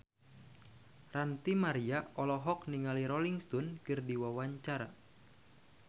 Ranty Maria olohok ningali Rolling Stone keur diwawancara